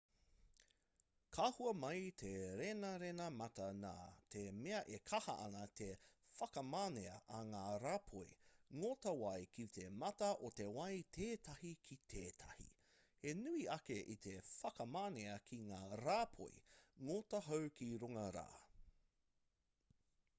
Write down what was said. ka hua mai te renarena mata nā te mea e kaha ana te whakamanea a ngā rāpoi ngota wai ki te mata o te wai tētahi ki tētahi he nui ake i te whakamanea ki ngā rāpoi ngota hau ki runga rā